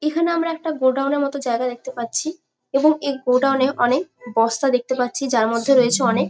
এখানে আমরা একটা গোডাউন -এর মতো জায়গা দেখতে পাচ্ছি এবং এই গোডাউন -এ অনেক বস্তা দেখতে পাচ্ছি যার মধ্যে রয়েছে অনেক --